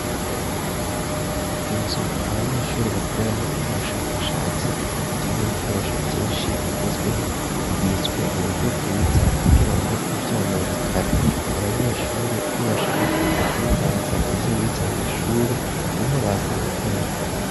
Inzu abanyeshure bakoreramwo ivyo ubushakashatsi irimwo ibikoresho vyinshi bigezweho bibiswe mu buryo bwiza kugira ngo ntivyononekare abanyeshure iyo bashaka kuza kunoganza ivyo bize mw'ishure ni ho baza gukorera.